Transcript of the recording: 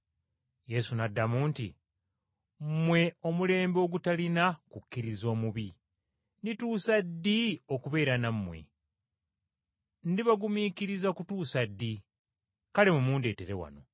Yesu n’addamu nti, “Mmwe omulembe ogutalina kukkiriza omubi. Ndituusa ddi okubeera nammwe? Ndibagumiikiriza kutuusa ddi? Kale mumundeetere wano.”